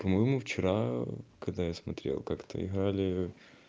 по-моему вчера когда я смотрела как-то играли